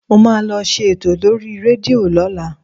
Mo máa lọ ṣe ètò lórí rédíò lọ́la